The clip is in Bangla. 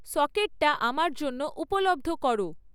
সকেটটা আমার জন্য উপলব্ধ করো